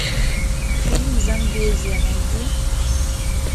фильм замбезия найди